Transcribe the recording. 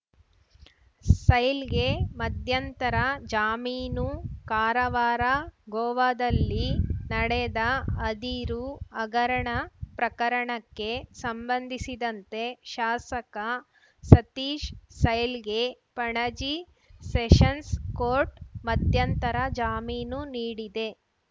ಸೈಲ್‌ಗೆ ಮಧ್ಯಂತರ ಜಾಮೀನು ಕಾರವಾರ ಗೋವಾದಲ್ಲಿ ನಡೆದ ಅದಿರು ಹಗರಣ ಪ್ರಕರಣಕ್ಕೆ ಸಂಬಂಧಿಸಿದಂತೆ ಶಾಸಕ ಸತೀಶ್ ಸೈಲ್‌ಗೆ ಪಣಜಿ ಸೆಷನ್ಸ್‌ ಕೋರ್ಟ್‌ ಮಧ್ಯಂತರ ಜಾಮೀನು ನೀಡಿದೆ